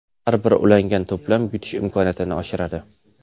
Har bir ulangan to‘plam yutish imkoniyatini oshiradi.